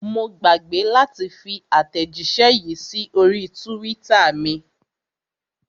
Mo gbàgbé láti fi àtẹ̀jíṣẹ́ yìí sí orí twitter mi.